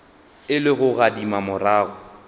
e le go gadima morago